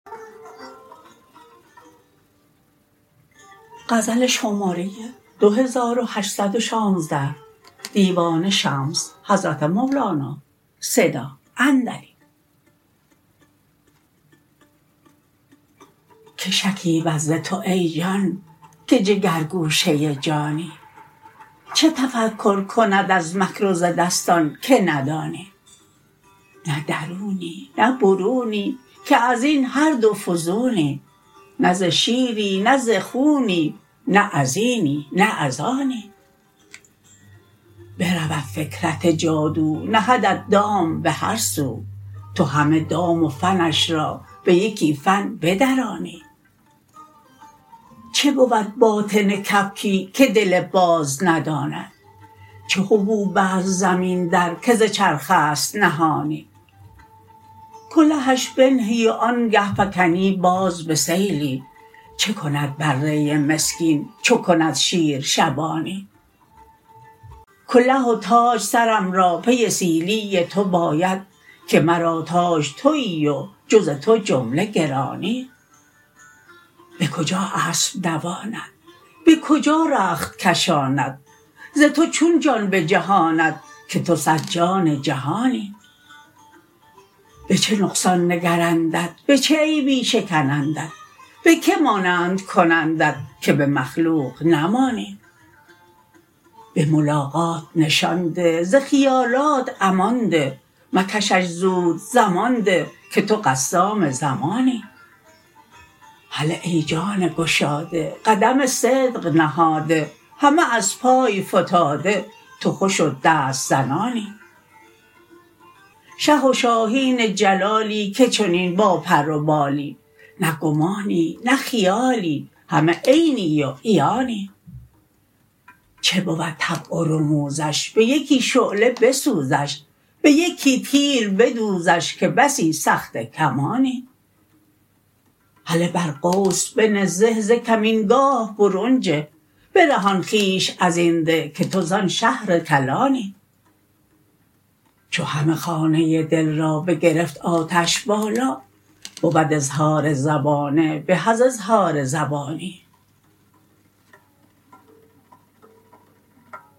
که شکیبد ز تو ای جان که جگرگوشه جانی چه تفکر کند از مکر و ز دستان که ندانی نه درونی نه برونی که از این هر دو فزونی نه ز شیری نه ز خونی نه از اینی نه از آنی برود فکرت جادو نهدت دام به هر سو تو همه دام و فنش را به یکی فن بدرانی چه بود باطن کبکی که دل باز نداند چه حبوب است زمین در که ز چرخ است نهانی کلهش بنهی وآنگه فکنی باز به سیلی چه کند بره مسکین چو کند شیر شبانی کله و تاج سرم را پی سیلی تو باید که مرا تاج توی و جز تو جمله گرانی به کجا اسب دواند به کجا رخت کشاند ز تو چون جان بجهاند که تو صد جان جهانی به چه نقصان نگرندت به چه عیبی شکنندت به کی مانند کنندت که به مخلوق نمانی به ملاقات نشان ده ز خیالات امان ده مکشش زود زمان ده که تو قسام زمانی هله ای جان گشاده قدم صدق نهاده همه از پای فتاده تو خوش و دست زنانی شه و شاهین جلالی که چنین باپر و بالی نه گمانی نه خیالی همه عینی و عیانی چه بود طبع و رموزش به یکی شعله بسوزش به یکی تیر بدوزش که بسی سخته کمانی هله بر قوس بنه زه ز کمینگاه برون جه برهان خویش از این ده که تو زان شهر کلانی چو همه خانه دل را بگرفت آتش بالا بود اظهار زبانه به از اظهار زبانی